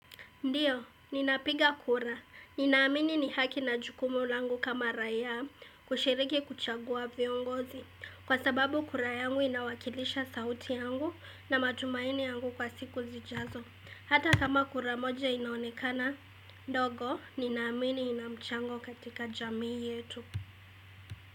Ndio, ninapiga kura. Ninaamini ni haki na jukumu langu kama raia kushiriki kuchagua viongozi. Kwa sababu kura yangu inawakilisha sauti yangu na matumaini yangu kwa siku zijazo. Hata kama kura moja inaonekana. Ndogo, ninaamini ninamchango katika jamii yetu.